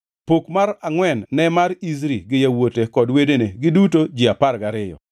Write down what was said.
Pok mar angʼwen ne mar Izri gi yawuote kod wedene, giduto ji apar gariyo,